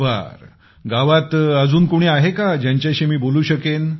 बरं गावात अजून कोणी आहे का ज्यांच्याशी मी बोलू शकेन